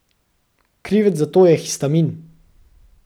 Krivec za to je histamin.